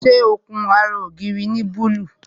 Ṣé ó kun ara ògiri ní búlúù?